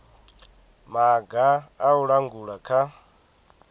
maga a u langula kha